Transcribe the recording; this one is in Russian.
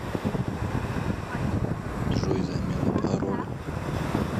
джой замена пароля